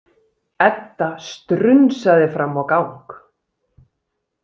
Edda strunsaði fram á gang.